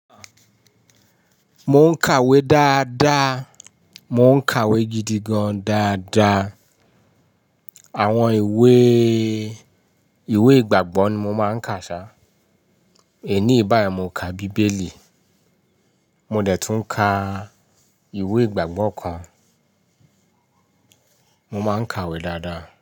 Mo ń kàwé dáadáa, mo ń kàwé gidigan dáadáa. Àwọn ìwé, ìwé ìgbàgbọ́ ni mo máa ń kà ṣá. Èní bá yi mo kà bíbélì. Mo dẹ̀ tún ka ìwé ìgbàgbọ́ kan. Mo máa ń kàwé dáadáa.